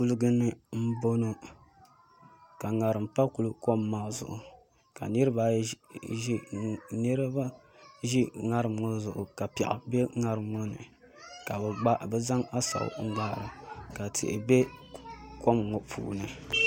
Kuligi ni n boŋo ka ŋarim pa kuli kom maa zuɣu ka niraba ʒi ŋarim ŋo zuɣu ka piɛɣu bɛ ŋarim ŋo ni ka bi zaŋ asaw n gbaara ka tihi bɛ kom ŋo puuni